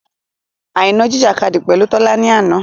Àìná jìjìkadì pẹ̀lú Tọ́lá ni àná.